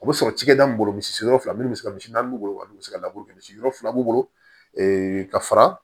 U bɛ sɔrɔ cikɛda mun bolo misiw la minnu bɛ se ka misi naani b'u bolo olu bɛ se ka laburu kɛ misiw fila b'u bolo ka fara